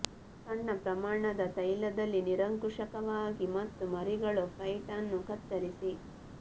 ಸಣ್ಣ ಪ್ರಮಾಣದ ತೈಲದಲ್ಲಿ ನಿರಂಕುಶವಾಗಿ ಮತ್ತು ಮರಿಗಳು ಫೈಟ್ ಅನ್ನು ಕತ್ತರಿಸಿ